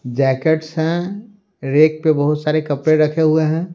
Jackets हैं rack पे बहुत सारे कपड़े रखे हुए है।